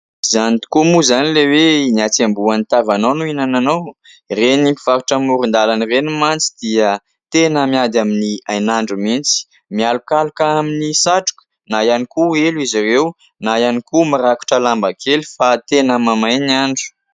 Izany tokoa moa izany ilay hoe : "Ny hatsembohan'ny tavanao no ihinananao" ? Ireny mpivarotra amoron-dalana ireny mantsy dia teny miady amin'ny hain'andro mihitsy. Mialokaloka amin'ny satroka na ihany koa elo izy ireo na ihany koa mirakotra lamba kely fa tena mamay ny andro.